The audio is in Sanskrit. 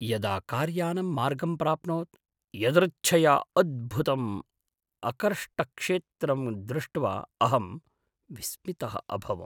यदा कार्यानं मार्गं प्राप्नोत्, यदृच्छया अद्भुतम् अकर्ष्टक्षेत्रं दृष्ट्वा अहं विस्मितः अभवम्।